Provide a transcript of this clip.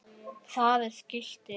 Það er skilti.